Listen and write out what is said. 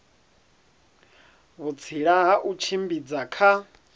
vhutsila ha u tshimbidza kha